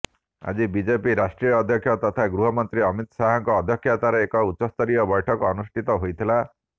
ଆଜି ବିଜେପି ରାଷ୍ଟ୍ରୀୟ ଅଧ୍ୟକ୍ଷ ତଥା ଗୃହମନ୍ତ୍ରୀ ଅମିତ ଶାହଙ୍କ ଅଧ୍ୟକ୍ଷତାରେ ଏକ ଉଚ୍ଚସ୍ତରୀୟ ବୈଠକ ଅନୁଷ୍ଠିତ ହୋଇଥିଲା